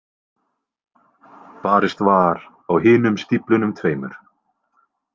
Barist var á hinum stíflunum tveimur.